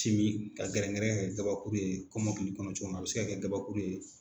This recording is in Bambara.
Simin ka gɛrɛngɛrɛn ka kɛ gabakuru ye kɔmɔkili kɔnɔ cogo mina a bɛ se ka kɛ gabakuru ye.